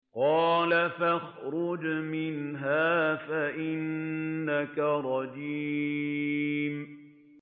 قَالَ فَاخْرُجْ مِنْهَا فَإِنَّكَ رَجِيمٌ